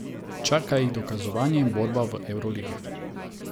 Čaka jih dokazovanje in borba v evroligi.